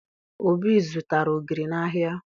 Obi zụtara ogiri n'ahịa